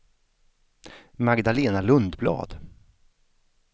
Magdalena Lundblad